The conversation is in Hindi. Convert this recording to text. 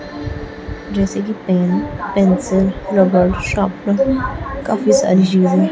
जैसे कि पेन पेंसिल रबर शार्पनर काफी सारी चीजें--